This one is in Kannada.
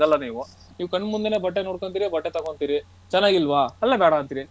ನೀವು ಕಣ್ಣು ಮುಂದೇನೆ ಬಟ್ಟೆ ನೋಡ್ಕೊಂತೀರಿ ಬಟ್ಟೆ ತಗೋಂತಿರಿ ಚೆನ್ನಾಗ್ ಇಲ್ಲವಾ ಅಲ್ಲೇ ಬೇಡ ಅಂತೀರಿ